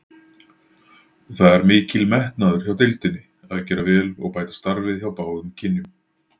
Það er mikil metnaður hjá deildinni að gera vel og bæta starfið hjá báðum kynjum.